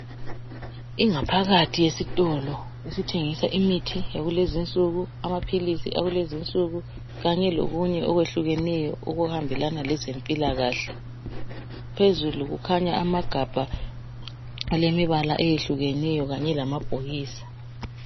Ingaphakathi yesitolo esithengisa imithi yakulezi insuku amaphilisi akulezi insuku kanye lokunye okwehlukeneyo okuhambelana lezempilakahle ,phezulu kukhanya amagabha alemibala eyehlukeneyo kanye lamabhokisi.